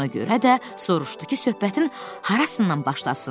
Ona görə də soruşdu ki, söhbətin harasından başlasın.